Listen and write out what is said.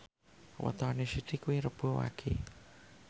wetone Siti kuwi Rebo Wage